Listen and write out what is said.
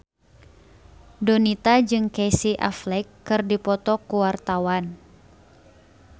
Donita jeung Casey Affleck keur dipoto ku wartawan